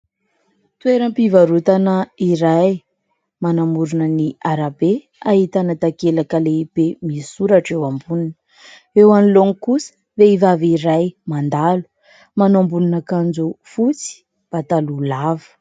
Toeram-pivarotana iray manamorona ny arabe ahitana takelaka lehibe misoratra eo amboniny. Eo anoloany kosa vehivavy iray mandalo, manao ambonin' akanjo fotsy, pataloha lava.